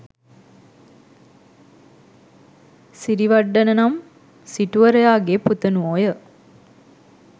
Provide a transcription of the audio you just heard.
සිරිවඩ්ඩන නම් සිටුවරයා ගේ පුතණුවෝය.